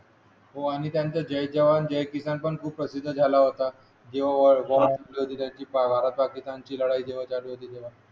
हो आणि त्यांचा जय जवान जय किसान खूप प्रसिद्ध झाला होता जेव्हा भारत पाकिस्तानची लढाई चालू होती तेव्हा